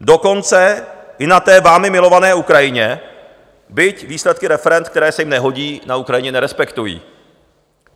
dokonce i na té vámi milované Ukrajině, byť výsledky referend, které se jim nehodí, na Ukrajině nerespektují.